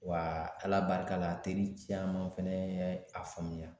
Wa ala barika la a teri caman fɛnɛ ye a faamuya